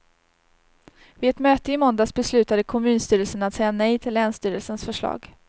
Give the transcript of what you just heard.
Vid ett möte i måndags beslutade kommunstyrelsen att säga nej till länsstyrelsens förslag.